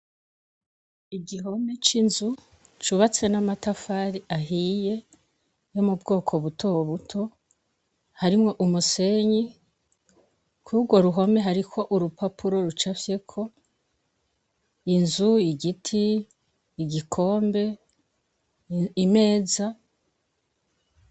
Igihome c'inzu cubatse n'amatafari ahiye yo mu bwoko buto buto harimwo umusenyi kurwo ruhome hariko urupapuro rucafyeko inzu, igiti, igikombe, imeza.